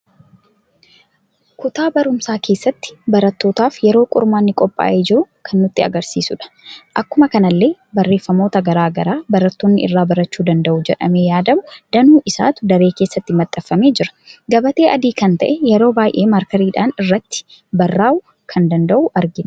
Kutaa barumsa keessatti barattootaf yeroo qormaanni qopha'ee jiru kan nutti argisiisuudha. Akkuma kanallee barreeffamoota garagaraa barattoonni irra baraachu danda'u jedhame yaadamu danuu isaatu daree keessatti maxxanfamee jira. gabaatee adii kan ta'e yeroi baay'ee markeeriidhan irratti barra'uu kan danda'u argina.